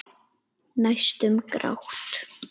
Næstum grátt.